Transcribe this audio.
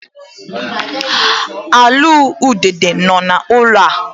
Alụụlu udide nọ n'ụlọ ya.